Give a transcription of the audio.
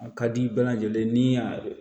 A ka di i bɛɛ lajɛlen ni a